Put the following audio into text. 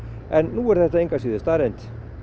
en nú er þetta engu að síður staðreynd